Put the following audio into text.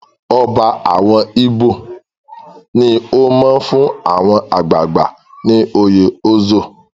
Ọba àwọn Ibo ní ó máa fún àwọn àgbààgbà ní oyè Ozo.